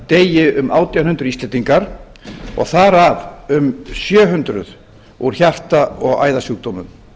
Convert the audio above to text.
deyi um átján hundruð íslendingar og þar af um sjö hundruð úr hjarta og æðasjúkdómum